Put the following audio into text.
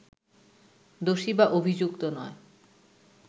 দোষী বা অভিযুক্ত নয়